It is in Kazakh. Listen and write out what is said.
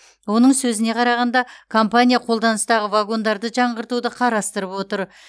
оның сөзіне қарағанда компания қолданыстағы вагондарды жаңғыртуды қарастырып отыр